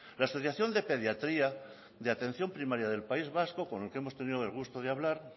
la asociación de pediatría de atención primaria del país vasco con el que hemos tenido el gusto de hablar